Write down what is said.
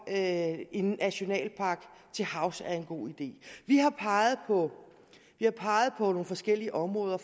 at en nationalpark til havs er en god idé vi har peget på nogle forskellige områder